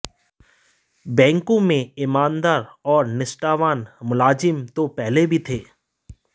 बैंकों में ईमानदार और निष्ठावान मुलाजिम तो पहले भी थे